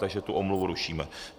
Takže tu omluvu rušíme.